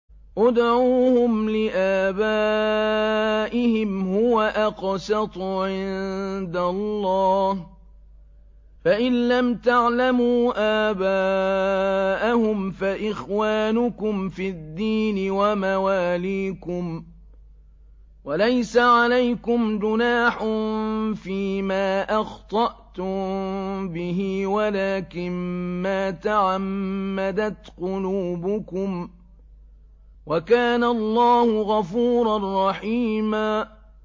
ادْعُوهُمْ لِآبَائِهِمْ هُوَ أَقْسَطُ عِندَ اللَّهِ ۚ فَإِن لَّمْ تَعْلَمُوا آبَاءَهُمْ فَإِخْوَانُكُمْ فِي الدِّينِ وَمَوَالِيكُمْ ۚ وَلَيْسَ عَلَيْكُمْ جُنَاحٌ فِيمَا أَخْطَأْتُم بِهِ وَلَٰكِن مَّا تَعَمَّدَتْ قُلُوبُكُمْ ۚ وَكَانَ اللَّهُ غَفُورًا رَّحِيمًا